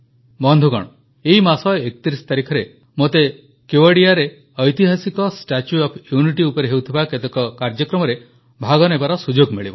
ବନ୍ଧୁଗଣ ଏଇ ମାସ 31 ତାରିଖରେ ମୋତେ କେୱଡିଆରେ ଐତିହାସିକ ଷ୍ଟାଚ୍ୟୁ ଓଏଫ୍ ୟୁନିଟି ଉପରେ ହେଉଥିବା କେତେକ କାର୍ଯ୍ୟକ୍ରମରେ ଭାଗ ନେବାର ସୁଯୋଗ ମିଳିବ